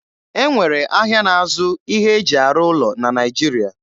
E nwere ahịa na-azụ ihe e ji arụ ụlọ na Naịjiria